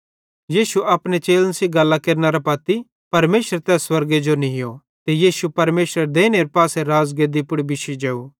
यीशु अपने चेलन सेइं गल्लां केरनेरां पत्ती परमेशरे तै स्वर्गे जो नीयो ते यीशु परमेशरेरे देइने पासे राज़गेद्दी पुड़ बिश्शी जेव